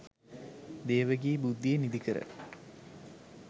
දේව ගී බුද්ධිය නිදිකර